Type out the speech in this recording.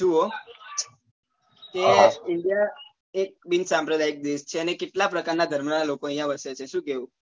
જુઓ કે india એક બિન સાંપ્રદાયિક દેશ છે અને કેટલા પ્રકાર ના ધર્મ ના લોકો અહિયાં વસે છે શું કેવું